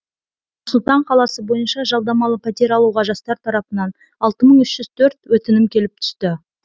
нұр сұлтан қаласы бойынша жалдамалы пәтер алуға жастар тарапынан алты мың үш жүз төрт өтінім келіп түсті